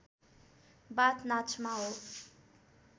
बाथ नाचमा हो